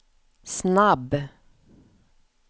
snabb